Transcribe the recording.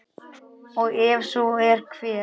og ef svo er, hver?